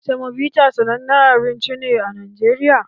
Semobita sanannen abinci ne a Najeriya